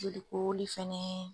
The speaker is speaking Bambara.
Jolikoroli fɛnɛ.